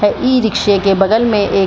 है इ-रिक्शे के बगल में एक --